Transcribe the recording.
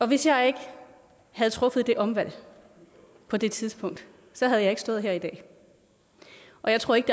hvis jeg ikke havde truffet det omvalg på det tidspunkt havde jeg ikke stået her i dag og jeg tror ikke